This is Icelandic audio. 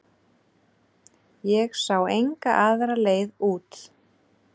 Ég sá enga aðra leið út.